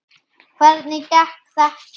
Hvernig gekk þetta?